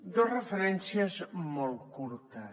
dos referències molt curtes